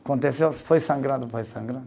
Aconteceu, foi sangrando, foi sangrando.